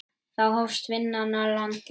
Þá hófst vinna í landi.